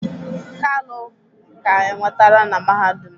kalu ka enwetara na mahadum